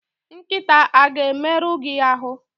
Nkịta a ga-emerụ gi ahụ!